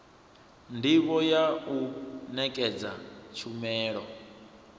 ndivho ya u nekedza tshumelo